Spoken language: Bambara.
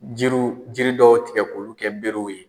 Jiriw jiri dɔw tigɛ k'olu kɛ berew ye.